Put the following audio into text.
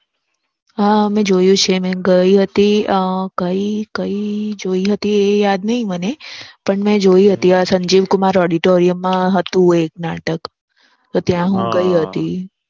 હા મેં જોયું છે મેં ગઈ હતી અ કઈ કઈ જોઈ હતી એ યાદ નથી મને પણ મેં જોઈ હતી સંજીવકુમાર Auditoriam માં હતું એક નાટક. તો ત્યાં હું ગઈ હતી